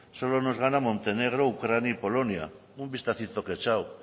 solo nos gana montenegro ucrania y polonia un vistacito que he echado